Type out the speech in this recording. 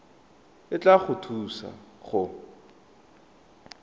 e tla go thusa go